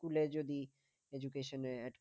স্কুলে যদি education